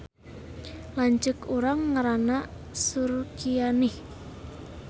Lanceuk urang ngaranna Surkianih